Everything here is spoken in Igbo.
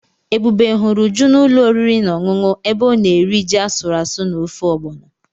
Ebube hụrụ Uju na ulo oriri na ọṅụṅụ ebe ọ na-eri ji asụrụ asụ na ofe Ọgbọnọ.